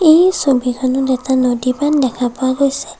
এই ছবিখনত এটা নদী বান্ধ দেখা পোৱা গৈছে।